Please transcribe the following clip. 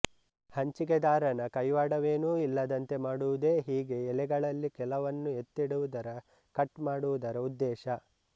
ಹಂಚಿಕೆದಾರನ ಕೈವಾಡವೇನೂ ಇಲ್ಲದಂತೆ ಮಾಡುವುದೇ ಹೀಗೆ ಎಲೆಗಳಲ್ಲಿ ಕೆಲವನ್ನು ಎತ್ತಿಡುವುದರ ಕಟ್ ಮಾಡುವುದರ ಉದ್ದೇಶ